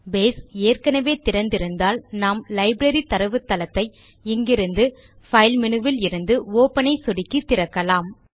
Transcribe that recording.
base ஏற்கெனெவே திறந்து இருந்தால் நாம் லைப்ரரி தரவுத்தளத்தை இங்கிருந்து பைல் மேனு விலிருந்து ஒப்பன் ஐ சொடுக்கி திறக்கலாம்